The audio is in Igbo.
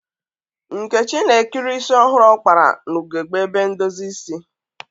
Nkechi na-ekiri isi ọhụrụ ọ kpara n'ugegbe ebe ndozi isi.